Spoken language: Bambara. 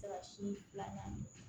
Se ka si filanan